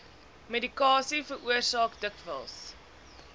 medikasie veroorsaak dikwels